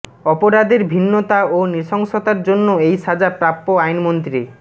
অপরাধের ভিন্নতা ও নৃশংসতার জন্য এই সাজা প্রাপ্য আইনমন্ত্রী